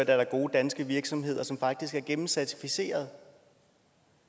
er der gode danske virksomheder som faktisk er gennemcertificerede